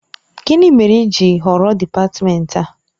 Gịnị mere i ji họrọ dị́patmenti a?